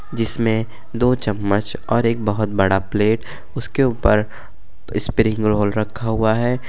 जिसमें दो चम्मच और एक बहोत बड़ा प्लेट उसके ऊपर स्प्रिंग रोल रखा हुआ है।